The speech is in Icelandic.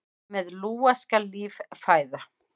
Með lúa skal líf fæða.